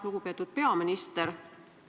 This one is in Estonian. Lugupeetud peaminister!